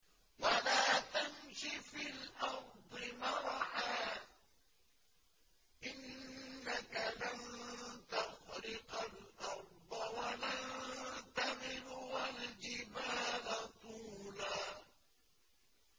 وَلَا تَمْشِ فِي الْأَرْضِ مَرَحًا ۖ إِنَّكَ لَن تَخْرِقَ الْأَرْضَ وَلَن تَبْلُغَ الْجِبَالَ طُولًا